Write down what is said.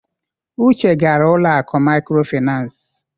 Uche gara ụlọ akụ mikrofinas.